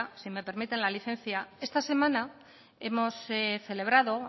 si me permiten la licencia esta semana hemos celebrado